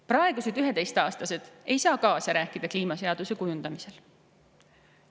Praegused 11-aastased ei saa kaasa rääkida kliimaseaduse kujundamisel.